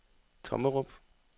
Tommerup